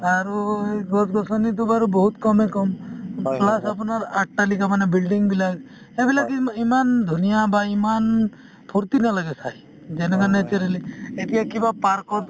আৰু এই গছ-গছনিতো বাৰু বহুত কমে কম plus আপোনাৰ অট্টালিকা মানে building বিলাক এইবিলাক ইম~ ইমান ধুনীয়া বা ইমান ফূৰ্তি নালাগে চাই যেনেকুৱা naturally এতিয়া কিবা park ত